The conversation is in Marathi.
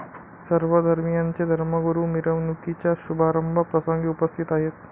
सर्व धर्मियांचे धर्मगुरू मिरवणुकीच्या शुभारंभ प्रसंगी उपस्थित आहेत.